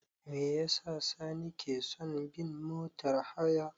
Me yasa Sani ke son bin motar haya?